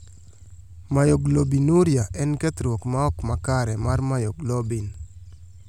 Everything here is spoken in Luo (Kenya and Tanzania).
Myoglobinuria en kethruok ma ok makare mar myoglobin